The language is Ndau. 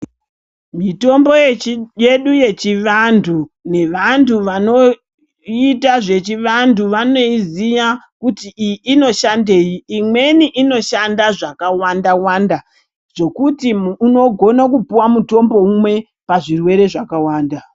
Mitombo yedu yechivantu nevantu vanoita zvechivantu, vanoiziya kuti iyi inoshandeyi. Imweni inoshanda zvakawanda wanda zokuti nhu unogone kupuwa mutombo umwe pazvirwere zvakawanda